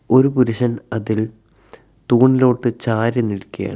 ഒരു പുരുഷൻ അതിൽ തൂണിലോട്ട് ചാരി നിൽക്കയാണ്.